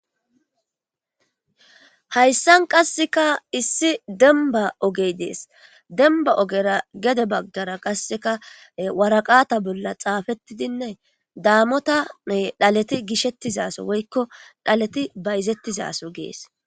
Hayssan qasseka issi demba ogey dees demba ogera gede baggara qasseka waraqata bolla xaafettidinne daamota dhaleti gishettizaso woykko dhaleti bayzettizaso gees.